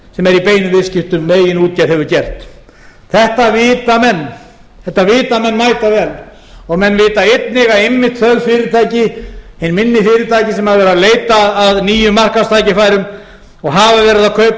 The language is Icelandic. sem er í beinum viðskiptum með eigin útgerð hefur gert þetta vita menn mætavel og menn vita einnig að einmitt þau fyrirtæki hinni minni fyrirtæki sem hafa verið að leita að nýjum markaðstækifærum og hafa verið að kaupa á